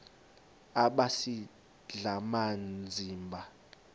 aba sisidl amazimba